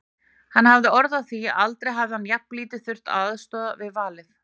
Hann hafði orð á því að aldrei hefði hann jafnlítið þurft að aðstoða við valið.